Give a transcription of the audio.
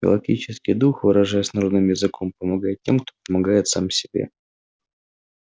галактический дух выражаясь народным языком помогает тем кто помогает сам себе